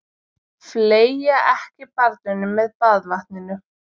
Fleygja ekki barninu með baðvatninu.